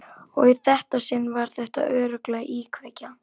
Og í þetta sinn var þetta örugglega íkveikja.